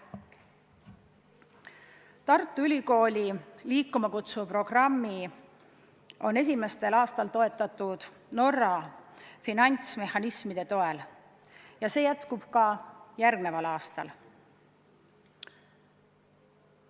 Tartu Ülikooli "Liikuma kutsuva kooli" programmi on esimestel aastatel toetatud Norra finantsmehhanismidega ja see jätkub ka järgmisel aastal.